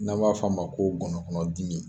N'an b'a f'o ma ko gɔnɔkɔnɔdimi.